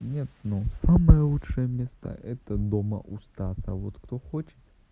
нет ну самое лучшее место это дома у стаса вот кто хочет